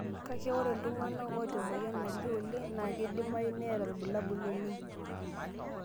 Kake, ore iltung'ana oota emoyian nalio oleng' naa keidimayu neeta ilbulabul oleng'.